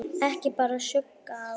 Ekki bar skugga á.